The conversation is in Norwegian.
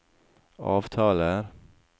avtaler